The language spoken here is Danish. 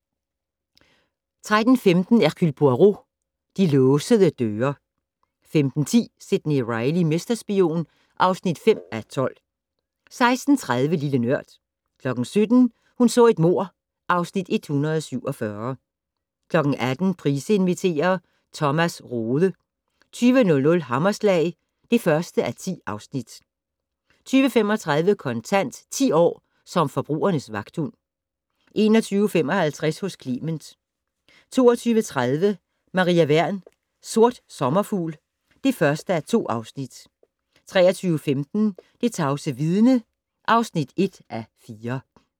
13:15: Hercule Poirot: De låsede døre 15:10: Sidney Reilly - mesterspion (5:12) 16:30: Lille Nørd 17:00: Hun så et mord (Afs. 147) 18:00: Price inviterer - Thomas Rode 20:00: Hammerslag (1:10) 20:35: Kontant: 10 år som forbrugernes vagthund 21:55: Hos Clement 22:30: Maria Wern: Sort sommerfugl (1:2) 23:15: Det tavse vidne (1:4)